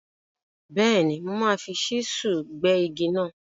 Bẹ́ẹ̀ni, mo máa fi ṣísúù gbẹ́ igi náà.